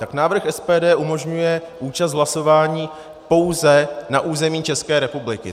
Tak návrh SPD umožňuje účast hlasování pouze na území České republiky.